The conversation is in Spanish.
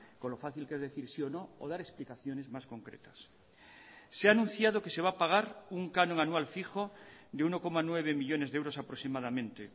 con lo fácil que es decir sí o no o dar explicaciones más concretas se ha anunciado que se va a pagar un canon anual fijo de uno coma nueve millónes de euros aproximadamente